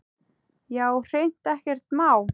Já, hreint ekkert má.